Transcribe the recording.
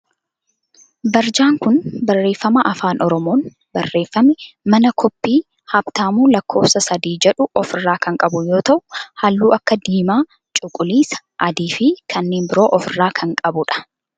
Barjaan kun barreeffama afaan oromoon barreeffaame mana kooppii Haabtaamuu lakkoofsa 3 jedhu of irraa kan qabu yoo ta'u halluu akka diimaa, cuquliisa adii fi kanneen biroo of irraa kan qabudha.